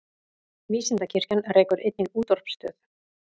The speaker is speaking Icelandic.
Vísindakirkjan rekur einnig útvarpsstöð.